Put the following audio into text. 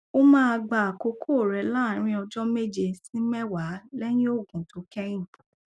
ó máa gba àkókò rẹ láàárín ọjọ méje sí mẹwàá lẹyìn òògùn tó kẹyìn